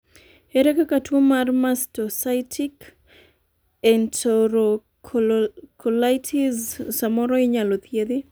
ere kaka tuo mr mastocytic enterocolitis samoro inyalo thiedhi?